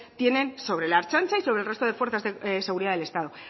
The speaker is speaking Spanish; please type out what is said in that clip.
tienen sobre la ertzaintza y sobre el resto de fuerzas de seguridad del estado